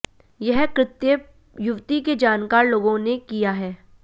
यह कृत्य युवती के जानकार लोगों ने किया है